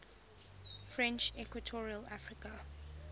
french equatorial africa